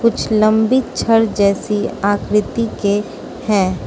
कुछ लंबी छड़ जैसी आकृति के है।